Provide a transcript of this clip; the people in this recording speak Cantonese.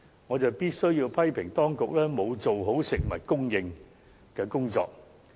我必須批評當局沒有妥善處理食物供應的工作。